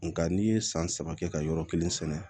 Nga n'i ye san saba kɛ ka yɔrɔ kelen sɛnɛ